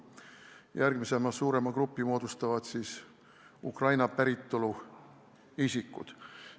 Järgmise suurema grupi moodustavad Ukrainast pärit isikud.